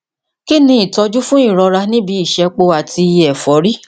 kí ni ìtọjú fún ìrọra ní ibi ìṣẹpo àti èfọrí